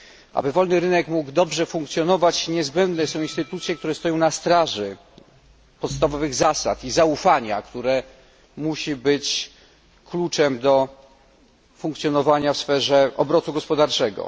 Aby wolny rynek mógł dobrze funkcjonować, niezbędne są instytucje, które stoją na straży podstawowych zasad i zaufania, które musi być kluczem do funkcjonowania w sferze obrotu gospodarczego.